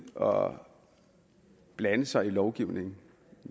og blande sig i lovgivningen